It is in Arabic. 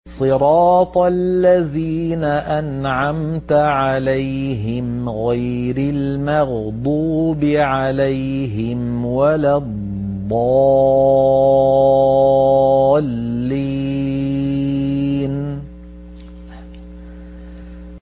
صِرَاطَ الَّذِينَ أَنْعَمْتَ عَلَيْهِمْ غَيْرِ الْمَغْضُوبِ عَلَيْهِمْ وَلَا الضَّالِّينَ